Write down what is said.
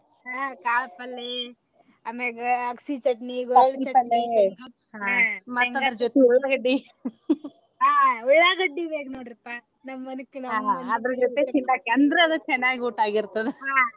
ಹಾ ಕಾಳ ಪಲ್ಲೆ ಆಮ್ಯಾಗ ಅಗಸಿ ಚಟ್ನಿ ಹಾ ಉಳ್ಳಾಗಡ್ಡಿ ಬ್ಯಾರ ನೊಡ್ರಿಪಾ .